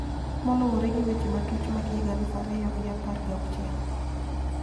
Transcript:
Moluwore gi weche matuch mag higa aluf ariyo gi apar ga auchiel